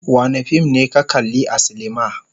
Wane fim ne ka kalli a silima.